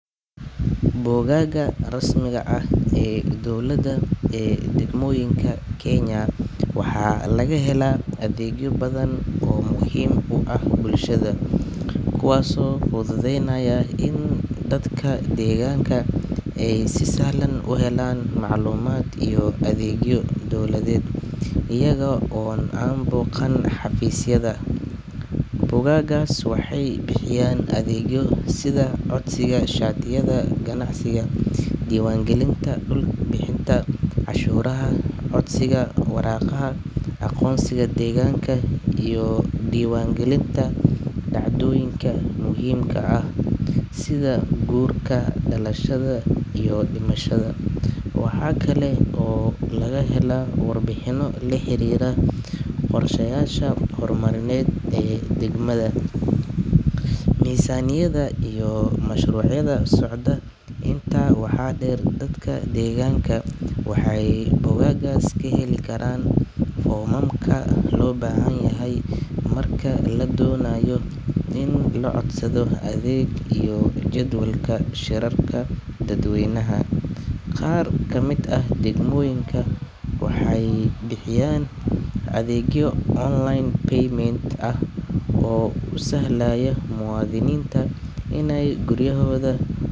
Bogagga rasmiga ah ee dowladda ee degmooyinka Kenya waxaa laga helaa adeegyo badan oo muhiim u ah bulshada, kuwaasoo fududeynaya in dadka deegaanka ay si sahlan u helaan macluumaad iyo adeegyo dowladeed iyaga oo aan booqan xafiisyada. Bogaggaas waxay bixiyaan adeegyo sida codsiga shatiyada ganacsiga, diiwaangelinta dhulka, bixinta cashuuraha, codsiga waraaqaha aqoonsiga deegaanka, iyo diiwaangelinta dhacdooyinka muhiimka ah sida guurka, dhalashada iyo dhimashada. Waxaa kale oo laga helaa warbixino la xiriira qorshayaasha horumarineed ee degmada, miisaaniyadaha, iyo mashruucyada socda. Intaa waxaa dheer, dadka deegaanka waxay bogaggaas ka heli karaan foomamka loo baahan yahay marka la doonayo in la codsado adeeg, iyo jadwalka shirarka dadweynaha. Qaar ka mid ah degmooyinka waxay bixiyaan adeegyo online payment ah oo u sahlaya muwaadiniinta inay guryahooda.